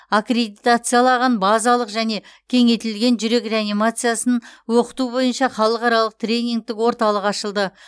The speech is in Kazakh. аккредитациялаған базалық және кеңейтілген жүрек реанимациясын оқыту бойынша халықаралық тренингтік орталық ашылды